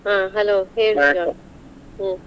ಅಹ್ hello Shiva ಹ್ಮ್.